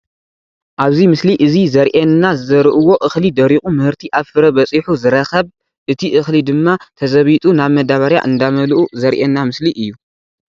ኣብዚ ምስሊ እዚ ዘሪኤና ዝዘርእዎ እኽሊ ደሪቑ ምህርቲ ኣብ ፍረ በፂሑ ዝረኸብ እቲ እኽሊ ድማ ተዘቢጡ ናብ መዳበርያ እንዳመልኡ ዘሪኤና ምስሊ እዩ፡፡